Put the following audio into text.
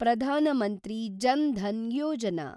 Pradhan Mantri Jan Dhan Yojana